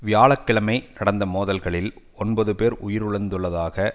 வியாழ கிழமை நடந்த மோதல்களில் ஒன்பது பேர் உயிரிழந்துள்ளதாக